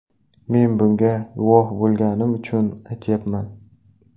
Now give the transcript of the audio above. Men bunga guvoh bo‘lganim uchun aytyapman.